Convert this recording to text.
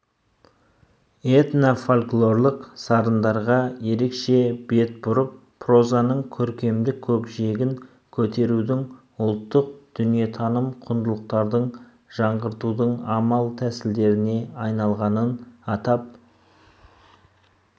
этно-фольклорлық сарындарға ерекше бет-бұрып прозаның көркемдік көкжиегін көтерудің ұлттық дүниетаным құндылықтардың жаңғыртудың амал-тәсілдеріне айналғанын атап